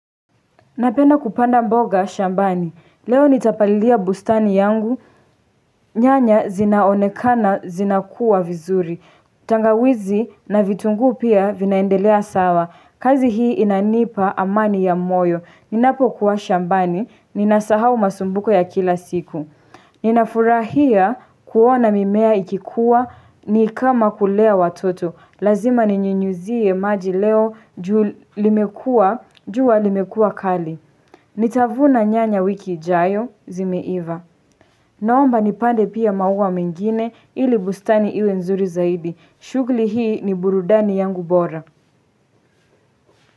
Napenda kupanda mboga shambani. Leo nitapalilia bustani yangu, nyanya zinaonekana zinakuwa vizuri. Tangawizi na vitungu pia vinaendelea sawa, kazi hii inanipa amani ya moyo. Ninapokuwa shambani, ninasahau masumbuko ya kila siku. Ninafurahia kuona mimea ikikuwa, ni kama kulea watoto. Lazima ninyunyizie maji leo, jua limekua kali. Nitavuna nyanya wiki ijayo, zimeiva. Naomba nipande pia maua mengine, ili bustani iwe nzuri zaidi. Shughuli hii ni burudani yangu bora.